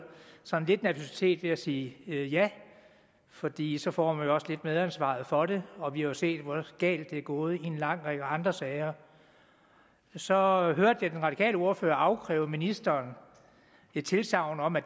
har lidt nervøsitet ved at sige ja fordi så får man også lidt medansvar for det og vi har jo set hvor galt det er gået i en lang række andre sager så hørte jeg den radikale ordfører afkræve ministeren et tilsagn om at